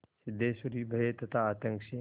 सिद्धेश्वरी भय तथा आतंक से